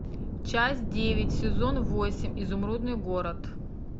часть девять сезон восемь изумрудный город